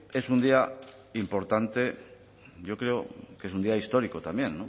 es un día importante yo creo que es un día histórico también